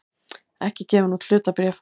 ekki gefin út hlutabréf.